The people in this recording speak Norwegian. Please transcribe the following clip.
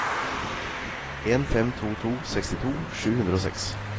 en fem to to sekstito sju hundre og seks